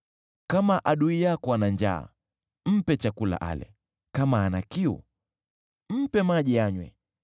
Kama adui yako ana njaa, mpe chakula ale; kama ana kiu, mpe maji anywe.